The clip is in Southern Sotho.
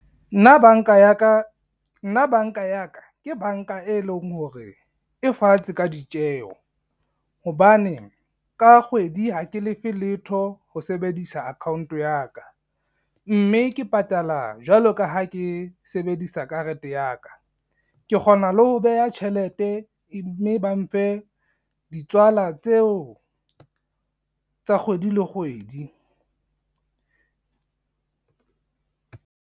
Nna banka ya ka, ke banka e leng hore, e fatshe ka ditjeho. Hobane ka kgwedi ha ke lefe letho ho sebedisa account ya ka, mme ke patala jwalo ka ha ke sebedisa karete ya ka, ke kgona le ho beha tjhelete mme ba mfe ditswala tseo tsa kgwedi le kgwedi.